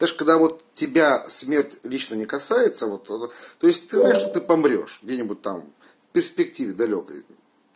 даже когда вот тебя смерть лично не касается вот то есть ты помрёшь где-нибудь там в перспективе далёкой